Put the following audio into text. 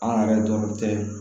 An yɛrɛ dɔrɔn tɛ